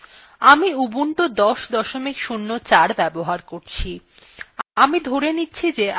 আমি ধরে নিচ্ছি যে আপনি linux operating কিভাবে কাজ শুরু করতে হয় ত়া জানেন এবং মৌলিক র্নিদেশাবলী সম্বন্ধে আপনার কিছু ধারনার আছে